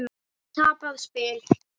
Tapað spil?